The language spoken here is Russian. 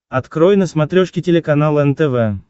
открой на смотрешке телеканал нтв